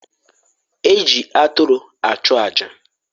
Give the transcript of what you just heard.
E ji aturu achụ aja.